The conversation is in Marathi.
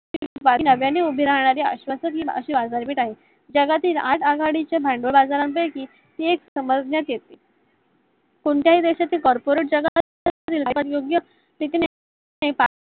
नव्याने उभी राहणारी अशी आश्वासीन आगामी जगातील आठ आघाडीच्या भागबाजरा पैकी ही एक समजण्यात येते कोत्याही देशाचे corporate जगाशी